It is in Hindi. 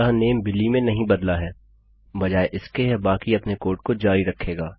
अतः नाम बिली में नहीं बदला है बजाय इसके यह बाकी अपने कोड को जारी रखेगा